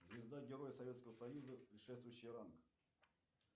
звезда героя советского союза предшествующий ранг